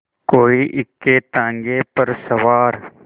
कोई इक्केताँगे पर सवार